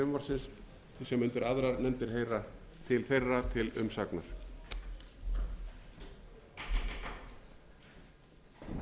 til að vísa þeim hlutum frumvarpsins sem undir aðrar nefndir heyra til þeirra til umsagnar